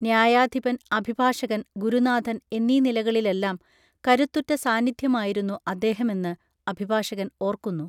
ന്യായാധിപൻ അഭിഭാഷകൻ ഗുരുനാഥൻ എന്നീ നിലകളിലെല്ലാം കരുത്തുറ്റ സാന്നിധ്യമായിരുന്നു അദ്ദേഹമെന്ന് അഭിഭാഷകൻ ഓർക്കുന്നു